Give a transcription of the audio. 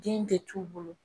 Den de t'u bolo